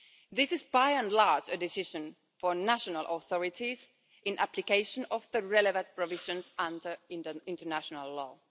This is by and large a decision for national authorities in application of the relevant provisions under international law.